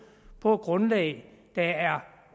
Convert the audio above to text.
på et grundlag der er